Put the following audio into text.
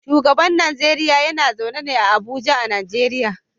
Shugaban Najeriya yana zaune a Abuja a Najeriya.